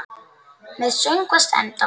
Meðan söngvar endast